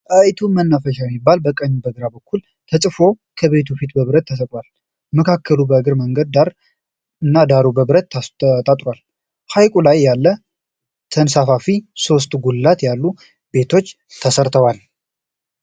"ጣይቱ መናፈሻ " የሚል በቀኝና በግራ በኩል ተፅፎ ከቤቱ ፊት በብረት ተሰቅሏል። መካከሉ የእግረኛ መንገዱ ዳር እና ዳሩ በብረት ታጥሯል። ሀይቁ ላይ ያለ ተንሴፋፊ ሦስት ጉልላት ያሉት ቤት ተሰርቷል።